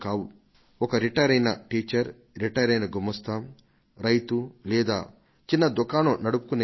ఒక రిటైర్ అయిన టీచర్ రిటైరైన గుమాస్తా రైతు లేదా చిన్న దుకాణం నడుపుకొనే వారు